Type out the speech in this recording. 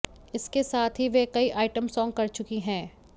इसके साथ ही वह कई आइटम सॉन्ग कर चुकी हैं